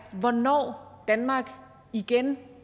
hvornår danmark igen